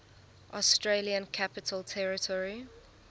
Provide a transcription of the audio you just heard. australian capital territory